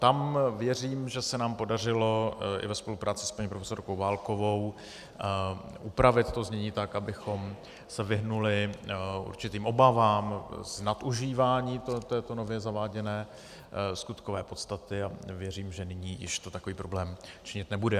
Tam věřím, že se nám podařilo, i ve spolupráci s paní profesorkou Válkovou, upravit to znění tak, abychom se vyhnuli určitým obavám z nadužívání této nově zaváděné skutkové podstaty, a věřím, že nyní již to takový problém činit nebude.